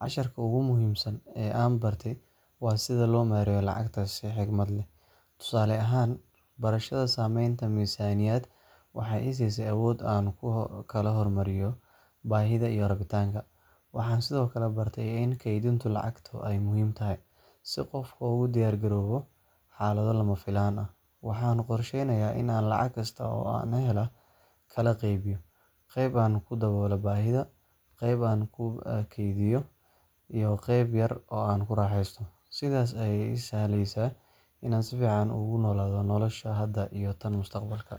Casharka ugu muhiimsan ee aan bartay waa sida loo maareeyo lacagta si xikmad leh. Tusaale ahaan, barashada samaynta miisaaniyad waxay i siisay awood aan ku kala hormariyo baahida iyo rabitaanka. Waxaan sidoo kale bartay in kaydinta lacagtu ay muhiim tahay, si qofku ugu diyaargaroobo xaalado lama filaan ah. Waxaan qorsheynayaa in aan lacag kasta oo aan helo kala qaybiyo; qayb aan ku daboolo baahiyaha, qayb aan ku kaydiyo, iyo qayb yar oo aan ku raaxeysto. Sidaas ayaa ii sahlaysa inaan si fiican ugu noolaado nolosha hadda iyo tan mustaqbalka.